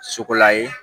Sogola ye